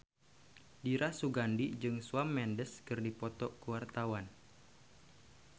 Dira Sugandi jeung Shawn Mendes keur dipoto ku wartawan